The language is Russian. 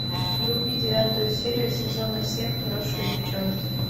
вруби девятую серию сезона семь хорошие девчонки